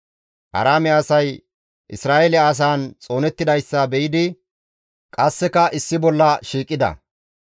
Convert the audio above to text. Aaraame asay Isra7eele asaan xoonettidayssa be7idi qasseka issi bolla shiiqida.